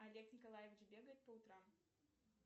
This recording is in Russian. олег николаевич бегает по утрам